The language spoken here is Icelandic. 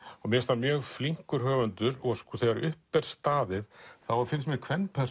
mér finnst hann mjög flinkur höfundur og þegar upp er staðið þá finnst mér